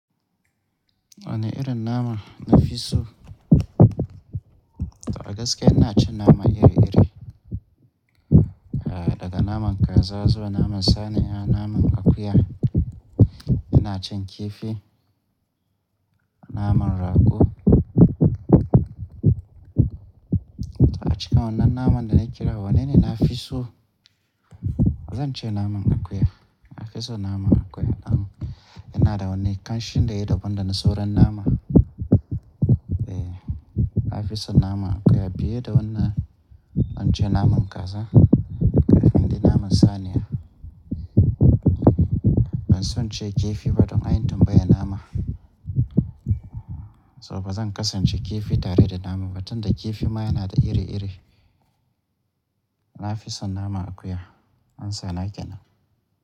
Wane irin nama na fi so? To angaskiya ina cin nama iri-iri, eh daga naman kaza zuwa naman saniya, naman akuya, ina cin kifi, naman rago. To a cikin wannan naman da na kira, wanne ne na fi so? Ba zan ce naman akuya. Na fi so nama akuya dan yana da wani ƙanshin da yai daban dana sauran nama. Eh, na fi son naman akuya biye da wannan in ce naman kaza kafin dqi naman saniya. Ban son ce kifi ba don anyi tambayan nama. So ba zan kasance kifi tare da nama ba tunda kifi ma yana da iri-iri. Na fi so naman akuya. An sana kenan.